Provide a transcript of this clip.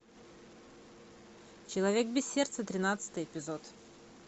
человек без сердца тринадцатый эпизод